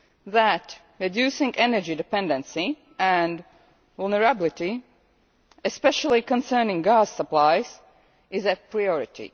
that reducing energy dependency and vulnerability, especially concerning gas supplies, is a priority.